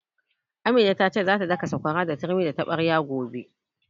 Amina ta ce za ta daka sakwara da turmi da taɓarya gobe